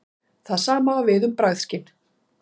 Það sama á við um bragðskyn.